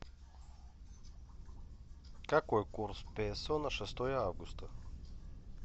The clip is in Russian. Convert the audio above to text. какой курс песо на шестое августа